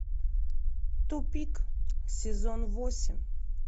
тупик сезон восемь